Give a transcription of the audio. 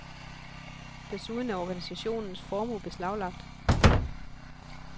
Desuden er organisationens formue beslaglagt.